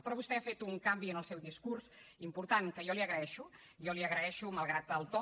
però vostè ha fet un canvi en el seu discurs important que jo li agraeixo jo li agraeixo malgrat el to